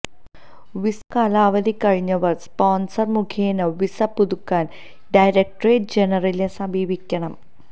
visa കാലാവധി കഴിഞ്ഞവര് sponsor മുഖേന വിസ പുതുക്കാന് ഡയറക്ടറേറ്റ് ജനറലിനെ സമീപിക്കണം